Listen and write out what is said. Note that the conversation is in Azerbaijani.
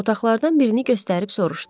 Otaqlardan birini göstərib soruşdu.